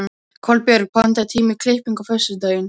Kolbjörg, pantaðu tíma í klippingu á föstudaginn.